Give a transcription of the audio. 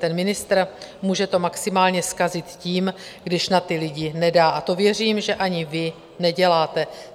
Ten ministr může to maximálně zkazit tím, když na ty lidi nedá, a to věřím, že ani vy neděláte.